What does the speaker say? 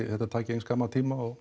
þetta taki eins skamman tíma og